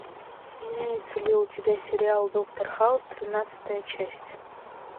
имеется ли у тебя сериал доктор хаус тринадцатая часть